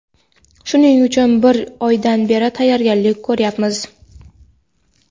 Shuning uchun bir oydan beri tayyorgarlik ko‘ryapmiz.